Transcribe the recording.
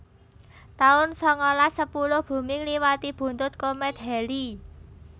taun sangalas sepuluh Bumi ngliwati buntut komét Halley